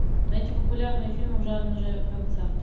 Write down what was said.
найти популярные фильмы в жанре концерт